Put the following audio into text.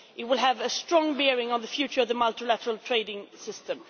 event. It will have a strong bearing on the future of the multilateral trading system.